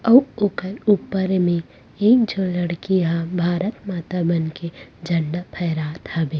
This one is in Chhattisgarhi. आऊ ऊपर-ऊपर में एक झन लड़की ह भारत माता बन के झंडा फहरात हबे--